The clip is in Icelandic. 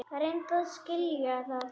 Reyndu að skilja það!